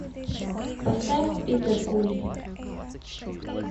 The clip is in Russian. поставь питер кули